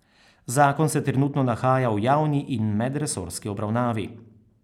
Zakon se trenutno nahaja v javni in medresorski obravnavi.